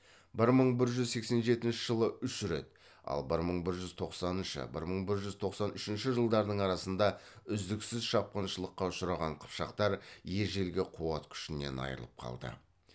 бір мың бір жүз сексен жетінші жылы үш рет ал бір мың бір жүз тоқсаныншы бір мың бір жүз тоқсан үшінші жылдардың арасында үздіксіз шапқыншылыққа ұшыраған қыпшақтар ежелгі қуат күшінен айырылып қалды